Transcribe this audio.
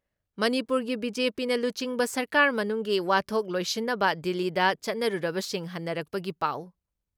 ꯃꯅꯤꯄꯨꯔꯒꯤ ꯕꯤ.ꯖꯦ.ꯄꯤꯅ ꯂꯨꯆꯤꯡꯕ ꯁꯔꯀꯥꯔ ꯃꯅꯨꯡꯒꯤ ꯋꯥꯊꯣꯛ ꯂꯣꯏꯁꯤꯟꯅꯕ ꯗꯤꯜꯂꯤꯗ ꯆꯠꯅꯔꯨꯕꯁꯤꯡ ꯍꯟꯅꯔꯛꯄꯒꯤ ꯄꯥꯎ,